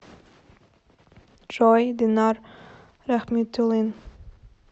джой динар рахмитулин